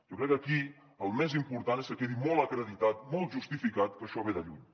jo crec que aquí el més important és que quedi molt acreditat molt justificat que això ve de lluny